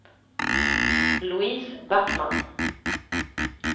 Louise Backman